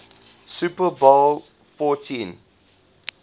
super bowl xliv